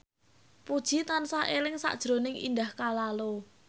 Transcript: Puji tansah eling sakjroning Indah Kalalo